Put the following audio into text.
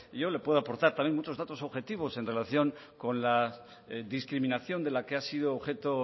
yo le puedo aportar también muchos datos objetivos en relación con la discriminación de la que ha sido objeto